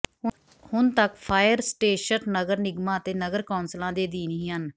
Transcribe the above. ਹੁਣ ਤੱਕ fire station ਨਗਰ ਨਿਗਮਾਂ ਅਤੇ ਨਗਰ ਕੌਂਸਲਾਂ ਦੇ ਅਧੀਨ ਹੀ ਹਨ